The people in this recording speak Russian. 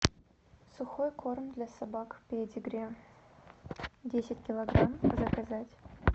сухой корм для собак педигри десять килограмм заказать